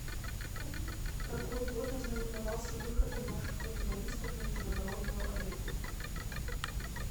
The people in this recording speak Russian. какой год ознаменовался выходом наших волейболистов на международную арену